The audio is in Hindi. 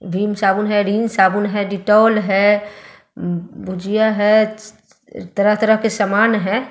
विम साबुन है रिन साबुन है डिटॉल है भुजिया है तरह तरह के सामान है।